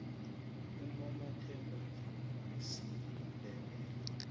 unomathemba mvumi wesindebele